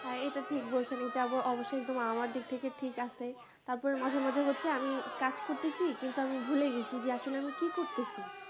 হ্যাঁ এটা ঠিক বলছেন এটা আপু অবশ্যই একদম আমার দিক থেকে ঠিক আছে তারপর মাঝে মাঝে হচ্ছে আমি কাজ করতেসি কিন্তু আমি ভুলে গেছি যে আসলে আমি কি করতেসি